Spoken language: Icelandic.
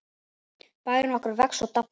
Bærinn okkar vex og dafnar.